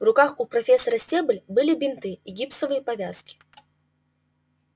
в руках у профессора стебль были бинты и гипсовые повязки